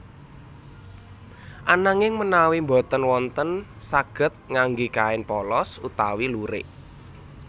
Ananging menawi boten wonten saged ngangge kain polos utawi lurik